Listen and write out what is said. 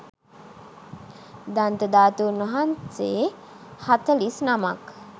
දන්ත ධාතූන් වහන්සේ හතළිස් නමක්